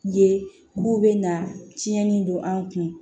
Ye k'u bɛna tiɲɛni don an kun